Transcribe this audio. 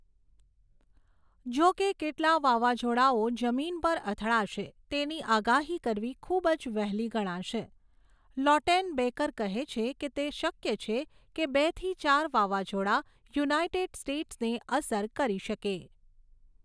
જો કે કેટલા વાવાઝોડાઓ જમીન પર અથડાશે તેની આગાહી કરવી ખૂબ જ વહેલી ગણાશે, લૌટેનબેકર કહે છે કે તે શક્ય છે કે બેથી ચાર વાવાઝોડા યુનાઇટેડ સ્ટેટ્સને અસર કરી શકે.